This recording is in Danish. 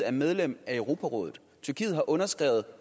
er medlem af europarådet tyrkiet har underskrevet